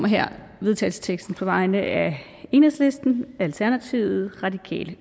her vedtagelsesteksten op på vegne af enhedslisten alternativet radikale